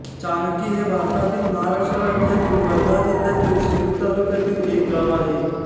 चाणकी हे भारतातील महाराष्ट्र राज्यातील वर्धा जिल्ह्यातील सेलू तालुक्यातील एक गाव आहे